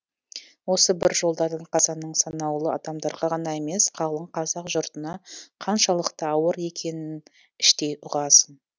осы бір жолдардан қазаның санаулы адамдарға ғана емес қалың қазақ жұртына қаншалықты ауыр екенін іштей ұғасың